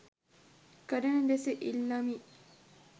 කරන ලෙස ඉල්ලමි.